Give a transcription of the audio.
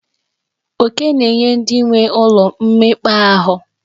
Oke na-enye ndị nwee ụlọ mmekpa ahụ.